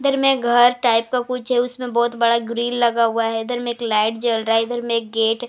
इधर में घर टाइप का कुछ है उसमें बहुत बड़ा ग्रिल लगा हुआ है इधर में एक लाइट जल रहा है इधर में एक गेट --